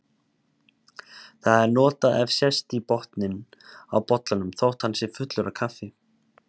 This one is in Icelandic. Það er notað ef sést í botninn á bollanum þótt hann sé fullur af kaffi.